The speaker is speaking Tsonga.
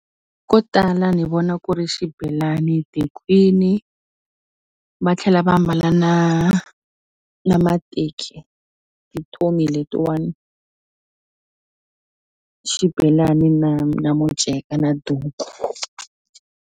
Ko tala ni vona ku ri xibelani tikhwini va tlhela va ambala na na mateki hi letiwani xibelani na na muceka na duku.